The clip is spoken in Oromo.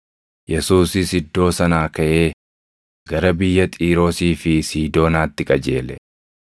Yesuusis iddoo sanaa kaʼee gara biyya Xiiroosii fi Siidoonaatti qajeele.